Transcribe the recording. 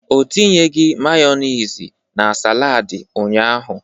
Ọ tinyeghị Mayonezi na saladi ụnyaahụ.